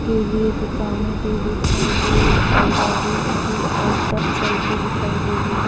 के लिए दुकानें भी दिखाई दे रही और गाड़ी भी आसपास चलती दिखाई दे रही है।